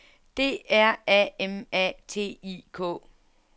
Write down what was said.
D R A M A T I K